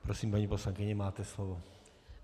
Prosím, paní poslankyně, máte slovo.